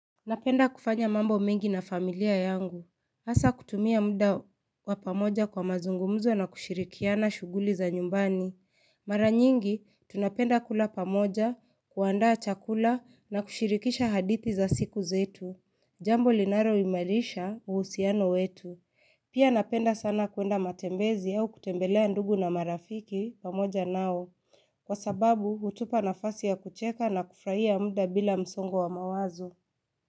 Napenda kufanya mambo mingi na familia yangu. Hasa kutumia muda wa pamoja kwa mazungumuzo na kushirikiana shughuli za nyumbani. Mara nyingi, tunapenda kula pamoja, kuandaa chakula na kushirikisha hadithi za siku zetu. Jambo linalo imarisha uhusiano wetu. Pia napenda sana kwenda matembezi au kutembelea ndugu na marafiki pamoja nao. Kwa sababu, hutupa nafasi ya kucheka na kufurahia muda bila msongo wa mawazo.